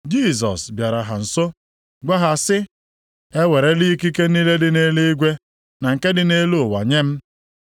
Jisọs bịara ha nso, gwa ha sị, “E werela ikike niile dị nʼeluigwe na nke dị nʼelu ụwa nye m.